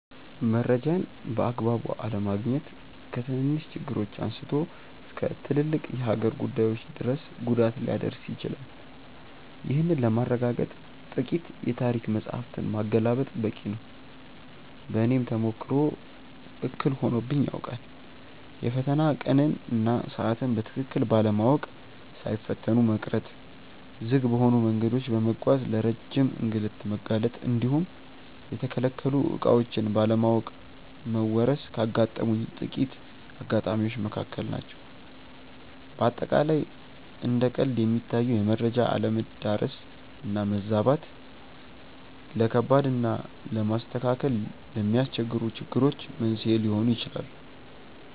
መረጃን በአግባቡ አለማግኘት ከትንንሽ ችግሮች አንስቶ እስከ ትልልቅ የሀገር ጉዳዮች ድረስ ጉዳት ሊያደርስ ይችላል። ይህንን ለማረጋገጥ ጥቂት የታሪክ መጻሕፍትን ማገላበጥ በቂ ነው። በእኔም ተሞክሮ እክል ሆኖብኝ ያውቃል። የፈተና ቀንን እና ሰዓትን በትክክል ባለማወቅ ሳይፈተኑ መቅረት፣ ዝግ በሆኑ መንገዶች በመጓዝ ለረጅም እንግልት መጋለጥ እንዲሁም የተከለከሉ ዕቃዎችን ባለማወቅ መወረስ ካጋጠሙኝ ጥቂት አጋጣሚዎች መካከል ናቸው። በአጠቃላይ እንደ ቀልድ የሚታዩ የመረጃ አለመዳረስ እና መዛባት፣ ለከባድ እና ለማስተካከል ለሚያስቸግሩ ችግሮች መንስኤ ሊሆኑ ይችላሉ።